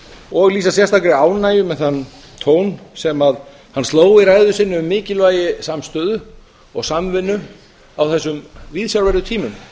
og lýsa sérstakri ánægju með þann tón sem hann sló í ræðu sinni um mikilvægi samstöðu og samvinnu á þessum viðsjárverðu tímum